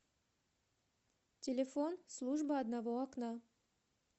телефон служба одного окна